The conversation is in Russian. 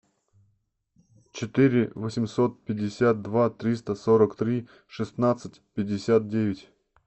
четыре восемьсот пятьдесят два триста сорок три шестнадцать пятьдесят девять